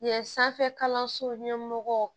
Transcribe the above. Yen sanfɛ kalanso ɲɛmɔgɔ